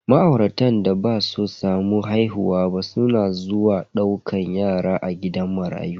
Ma'auratan da basu samu haihuwa ba suna zuwa daukan yara a gidan marayu.